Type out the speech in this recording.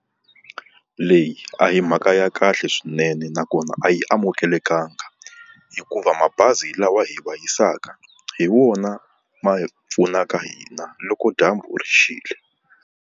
Leyi a hi mhaka ya kahle swinene nakona a yi amukelekangi, hikuva mabazi lawa hi wa hisaka hi wona ma hi pfunaka hina loko dyambu ri xile.